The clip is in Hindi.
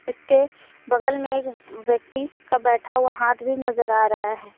इसके बगल में एक व्यक्ति का बैठा हुआ हाथ भी नजर आ रहा है।